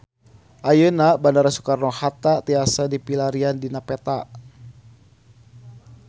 Ayeuna Bandara Soekarno Hatta tiasa dipilarian dina peta